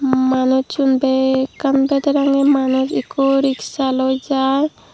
manusun bekkan bedarangey manus ekko ricksha loi jar.